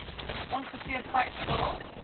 ongeveer vyf dae